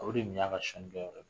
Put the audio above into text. O de dun y'a ka ye